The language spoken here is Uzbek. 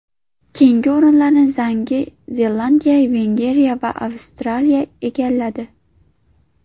Keyingi o‘rinlarni Yangi Zelandiya, Vengriya va Avstraliya egalladi.